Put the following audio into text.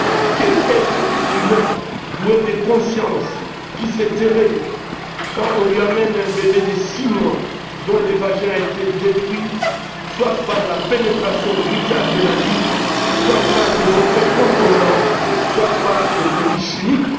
Quel est cet être humain doué de conscience qui se tairait quand on lui emmène un bébé de six mois dont le vagin a été détruit soit par la pénétration brutale d'un adulte, soit par des objets contondants, soit par des produits chimiques?